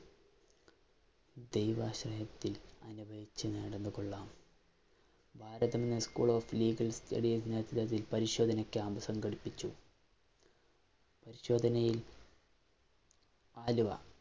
ദൈവാശ്രയത്തില്‍ അനുഭവിച്ചു നടന്നു കൊള്ളാം. പരിശോധന ക്യാമ്പ് സംഘടിപ്പിച്ചു. പരിശോധനയില്‍ ആലുവ